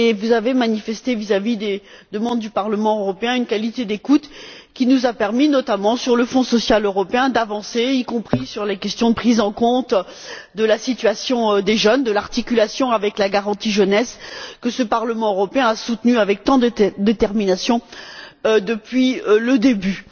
Vous avez manifesté, vis à vis des demandes du Parlement européen, une qualité d'écoute qui nous a permis, notamment sur le Fonds social européen, d'avancer, y compris sur les questions de prise en compte de la situation des jeunes, de l'articulation avec la garantie jeunesse, que ce Parlement européen a soutenue avec tant de détermination depuis le début.